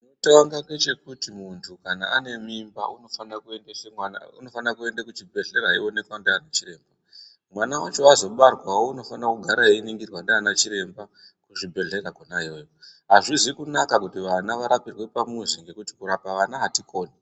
Chekutanga ngechekuti muntu kana ane mimba unofana kuende kuchibhedhlera ayionekwa ndianachiremba. Mwana wacho azobarwawo unofana kugara eyiningirwa ndianachiremba kuchibhedhlera kona iyoyo. Hazvizi kunaka kuti vana varapirwe pamuzi ngekuti kurapa vana hatikoni.